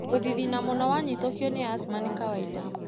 Gũthithina mũno wanyitũkio nĩ asthama nĩ kawainda.